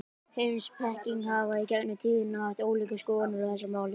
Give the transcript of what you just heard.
Heimspekingar hafa í gegnum tíðina haft ólíkar skoðanir á þessu máli.